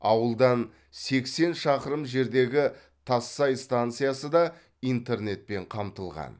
ауылдан сексен шақырым жердегі тассай станциясы да интернетпен қамтылған